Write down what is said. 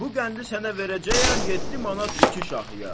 Bu qəndi sənə verəcəyəm 7 manat iki şahıya.